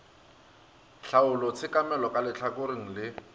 tlhaolo tshekamelo ka lehlakoreng le